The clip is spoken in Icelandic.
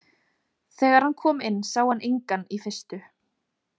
Þegar hann kom inn sá hann engan í fyrstu.